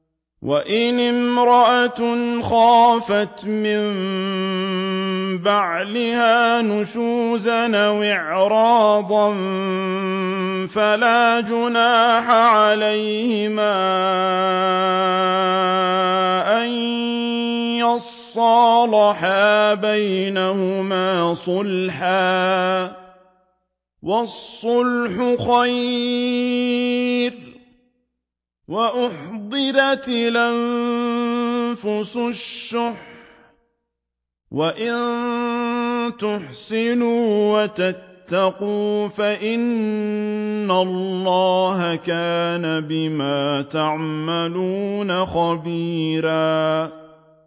وَإِنِ امْرَأَةٌ خَافَتْ مِن بَعْلِهَا نُشُوزًا أَوْ إِعْرَاضًا فَلَا جُنَاحَ عَلَيْهِمَا أَن يُصْلِحَا بَيْنَهُمَا صُلْحًا ۚ وَالصُّلْحُ خَيْرٌ ۗ وَأُحْضِرَتِ الْأَنفُسُ الشُّحَّ ۚ وَإِن تُحْسِنُوا وَتَتَّقُوا فَإِنَّ اللَّهَ كَانَ بِمَا تَعْمَلُونَ خَبِيرًا